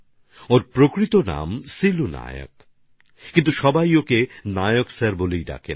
তাঁর নাম আসলে সিলু নায়ক কিন্তু সবাই তাঁকে নায়ক স্যার বলে থাকেন